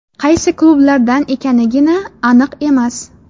Qaysi klublardan ekanigina aniq emas.